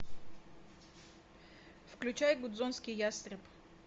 включай гудзонский ястреб